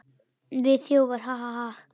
Við þjófar, ha, ha, ha.